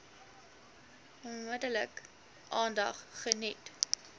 onmiddellik aandag geniet